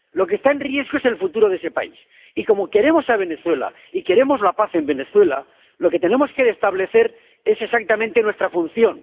Lo que está en riesgo es el futuro de ese país y, como queremos a Venezuela y queremos la paz en Venezuela, lo que tenemos que establecer es exactamente nuestra función.